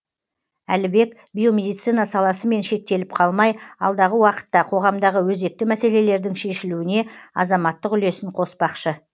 әлібек биомедицина саласымен шектеліп қалмай алдағы уақытта қоғамдағы өзекті мәселелердің шешілуіне азаматтық үлесін қоспақшы